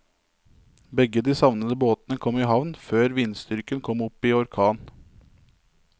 Begge de savnede båtene kom i havn før vindstyrken kom opp i orkan.